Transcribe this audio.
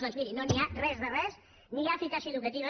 doncs miri no n’hi ha res de res ni hi ha eficàcia educativa